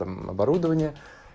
оборудование